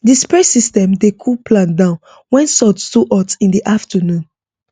the spray system dey cool plant down when sun too hot in di afternoon